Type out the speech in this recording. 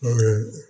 Mun ye